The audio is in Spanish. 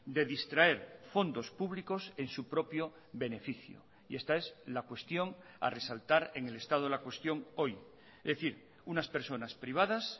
de distraer fondos públicos en su propio beneficio y esta es la cuestión a resaltar en el estado de la cuestión hoy es decir unas personas privadas